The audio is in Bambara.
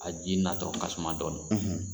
A ji natɔ ka suma dɔnnin.